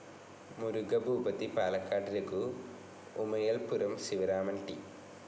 Murugabhoopathy, Palakkad Raghu, Umayalpuram Sivaraman, T.